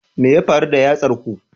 Me ya faru da yatsar ku?